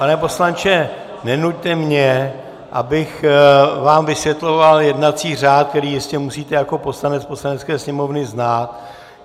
Pane poslanče, nenuťte mě, abych vám vysvětloval jednací řád, který jistě musíte jako poslanec Poslanecké sněmovny znát.